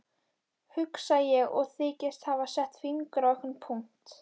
Hugsa ég og þykist hafa sett fingur á einhvern punkt.